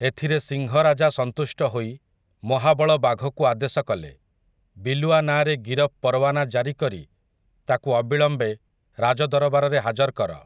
ଏଥିରେ ସିଂହରାଜା ସନ୍ତୁଷ୍ଟ ହୋଇ ମହାବଳ ବାଘକୁ ଆଦେଶ କଲେ, ବିଲୁଆ ନାଁରେ ଗିରଫ୍ ପରୱାନା ଜାରୀକରି ତାକୁ ଅବିଳମ୍ବେ ରାଜ ଦରବାରରେ ହାଜର କର ।